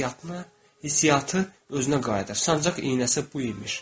Hisssiyatı özünə qayıdır, sancaq iynəsi bu imiş.